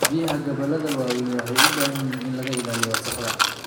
Biyaha gobollada waaweyn waxay u baahan yihiin in laga ilaaliyo wasakhda.